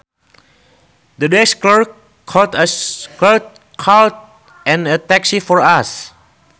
The desk clerk called a taxi for us